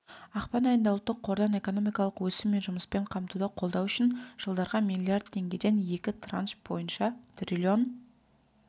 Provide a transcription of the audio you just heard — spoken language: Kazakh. ақпан айында ұлттық қордан экономикалық өсім мен жұмыспен қамтуды қолдау үшін жылдарға миллиард теңгеден екі транш бойынша триллион